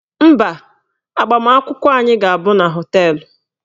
Mba, agbamakwụkwọ anyị ga-abụ na họteelụ